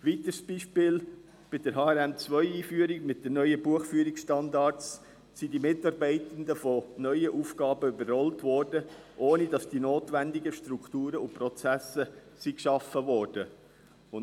Ein weiteres Beispiel: Bei der Einführung des Harmonisierten Rechnungslegungsmodells 2 (HRM2) mit den neuen Buchführungsstandards wurden die Mitarbeitenden von neuen Aufgaben überrollt, ohne dass die notwendigen Strukturen und Prozesse geschaffen wurden.